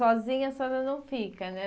Sozinha a senhora não fica, né?